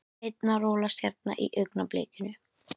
Einn að rolast hérna í augnablikinu.